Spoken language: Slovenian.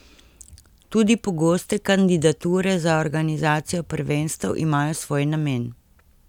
Tudi pogoste kandidature za organizacijo prvenstev imajo svoj namen.